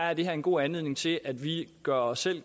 er det her en god anledning til at vi gør os